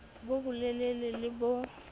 bo bo lelele le bo